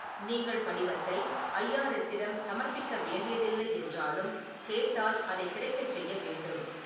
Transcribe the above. நீங்கள் படிவத்தை ஐ.ஆர்.எஸ்ஸிடம் சமர்ப்பிக்க வேண்டியதில்லை என்றாலும், கேட்டால் அதை கிடைக்கச் செய்ய வேண்டும்.